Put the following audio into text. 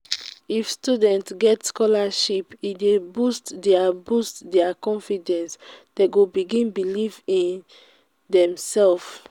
if students get scholarship e dey boost their boost their confidence dem go begin believe in demsef.